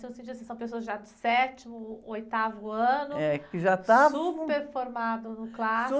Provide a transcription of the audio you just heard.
Se você diz que são pessoas já do sétimo, oitavo ano..., que já estavam...uper formadas no clássico.